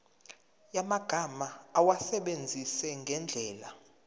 yamagama awasebenzise ngendlela